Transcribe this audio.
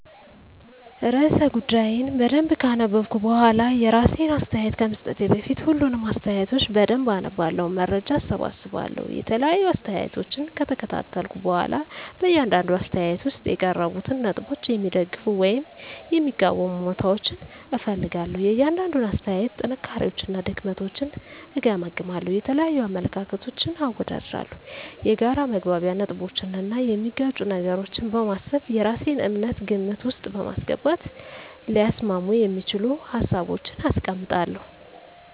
*ርዕሰ ጉዳዩን በደንብ ካነበብኩ በኋላ፤ *የራሴን አስተያየት ከመስጠቴ በፊት፦ ፣ሁሉንም አስተያየቶች በደንብ አነባለሁ፣ መረጃ እሰበስባለሁ የተለያዩ አስተያየቶችን ከተከታተልኩ በኋላ በእያንዳንዱ አስተያየት ውስጥ የቀረቡትን ነጥቦች የሚደግፉ ወይም የሚቃወሙ እውነታዎችን እፈልጋለሁ፤ * የእያንዳንዱን አስተያየት ጥንካሬዎችና ድክመቶችን እገመግማለሁ። * የተለያዩ አመለካከቶችን አወዳድራለሁ። የጋራ መግባቢያ ነጥቦችን እና የሚጋጩ ነገሮችን በማሰብ የራሴን እምነት ግምት ውስጥ በማስገባት ሊያስማሙ የሚችሉ ሀሳቦችን አስቀምጣለሁ።